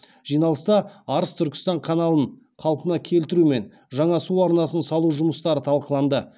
жиналыста арыс түркістан каналын қалпына келтіру мен жаңа су арнасын салу жұмыстары талқыланды